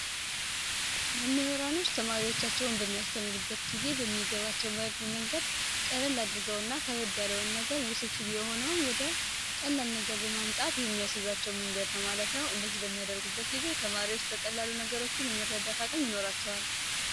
መምህራኖች ተማሪዎቻቸውን በሚያስተምሩበት ጊዜ በሚገባቸው መንገድ አድርገውና ውስብስብ የሆነው ወደ ቀላል ነገር በማምጣት የሚያስባቸው መንገድ ነው ማለት ነው እንደዚህ በሚያደርጉበት ጊዜ በቀላሉ ነገሮችን የመረዳት አቅም ይኖራቸዋል